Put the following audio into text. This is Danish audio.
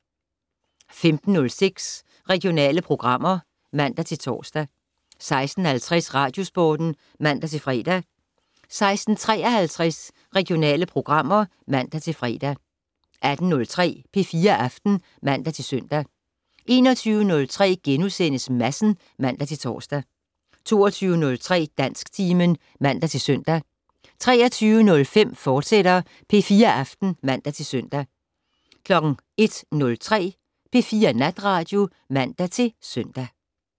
15:06: Regionale programmer (man-tor) 16:50: Radiosporten (man-fre) 16:53: Regionale programmer (man-fre) 18:03: P4 Aften (man-søn) 21:03: Madsen *(man-tor) 22:03: Dansktimen (man-søn) 23:05: P4 Aften, fortsat (man-søn) 01:03: P4 Natradio (man-søn)